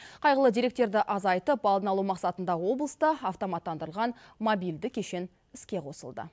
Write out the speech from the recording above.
қайғылы деректерді азайтып алдын алу мақсатында облыста автоматтандырылған мобильді кешен іске қосылды